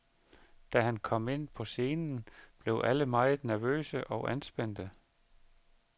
Da han kom ind på scenen, blev alle meget nervøse og anspændte.